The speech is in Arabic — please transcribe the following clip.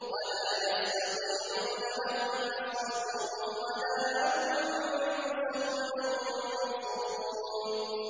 وَلَا يَسْتَطِيعُونَ لَهُمْ نَصْرًا وَلَا أَنفُسَهُمْ يَنصُرُونَ